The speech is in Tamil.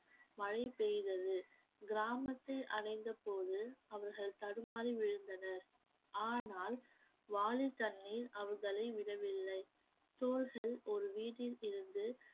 மழை பெய்தது கிராமத்தை அடைந்த போது அவர்கள் தடுமாறி விழுந்தனர் ஆனால் வாலி தண்ணீர் அவர்களை விடவில்லை தோள்கள் ஒரு வீட்டில் இருந்து